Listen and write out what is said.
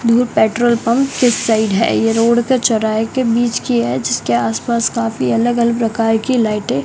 दुर petrol pump इस side है ये रोड के चौराहे के बीच की है जिसके आसपास काफी अलग अलग प्रकार की लाइटें --